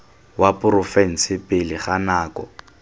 wa porofense pele ga nako